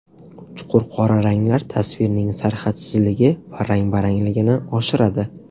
Chuqur qora ranglar tasvirning sarhadsizligi va rang-barangligini oshiradi.